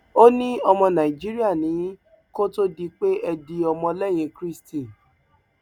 ó ní ọmọ nàìjíríà ni yín kó tóó di pé ẹ di ọmọlẹyìn kristi